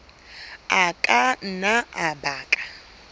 a ka nna a baka